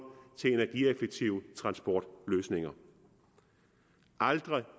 til energieffektive transportløsninger aldrig